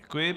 Děkuji.